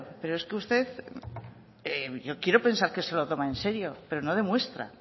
pero es que usted yo quiero pensar que se lo toman en serio pero no demuestra